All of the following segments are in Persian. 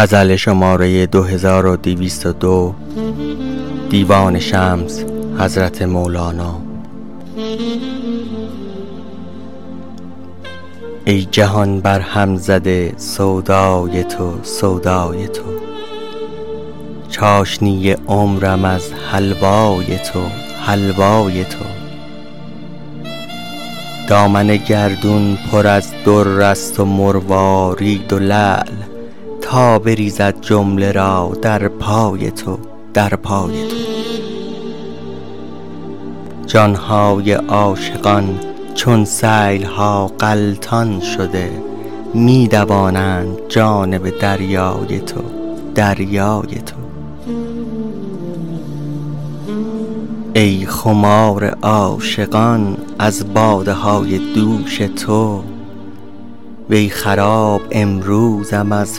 ای جهان برهم زده سودای تو سودای تو چاشنی عمرم از حلوای تو حلوای تو دامن گردون پر از در است و مروارید و لعل می دوانند جانب دریای تو دریای تو جان های عاشقان چون سیل ها غلطان شده تا بریزد جمله را در پای تو در پای تو جان های عاشقان چون سیل ها غلطان شده می دوانند جانب دریای تو دریای تو ای خمار عاشقان از باده های دوش تو وی خراب امروزم از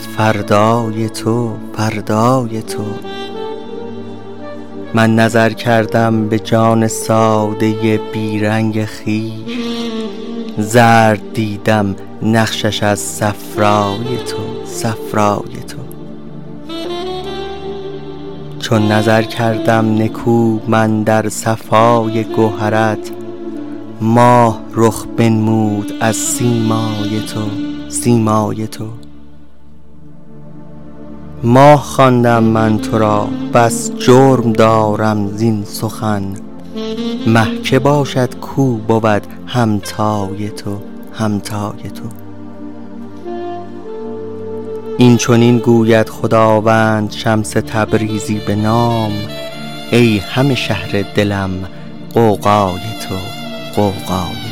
فردای تو فردای تو من نظر کردم به جان ساده ی بی رنگ خویش زرد دیدم نقشش از صفرای تو صفرای تو چون نظر کردم نکو من در صفای گوهرت ماه رخ بنمود از سیمای تو سیمای تو ماه خواندم من تو را بس جرم دارم زین سخن مه کی باشد کاو بود همتای تو همتای تو این چنین گوید خداوند شمس تبریزی بنام ای همه شهر دلم غوغای تو غوغای تو